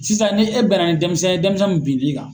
Sisan ni e bɛn na ni dɛnmisɛn ye, dɛnmisɛn mun bin b'i kan